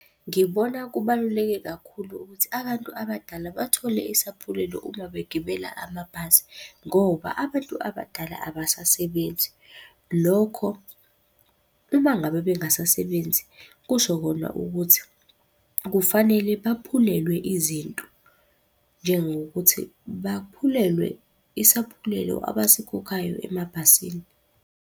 Ngibona kubaluleke kakhulu ukuthi abantu abadala bathole isaphulelo uma begibela amabhasi, ngoba abantu abadala abasasebenzi. Lokho, uma ngabe bengasasebenzi kusho kona ukuthi kufanele baphulelwe izinto. Njengokuthi baphulelwe isaphulelo abasikhokhayo emabhasini.